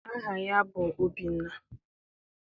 Aha ya bụ Obi.